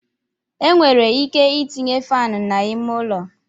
E nwere ike itinye faanụ n'ime ụlọ.